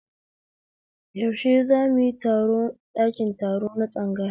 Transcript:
Yaushe zamuyi taro a ɗakin taro na tsangaya